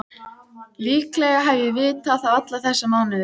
Líklega hef ég vitað það alla þessa mánuði.